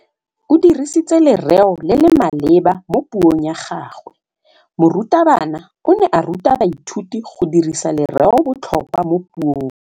O dirisitse lerêo le le maleba mo puông ya gagwe. Morutabana o ne a ruta baithuti go dirisa lêrêôbotlhôkwa mo puong.